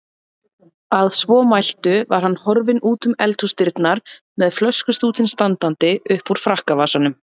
Að svo mæltu var hann horfinn útum eldhúsdyrnar með flöskustútinn standandi uppúr frakkavasanum.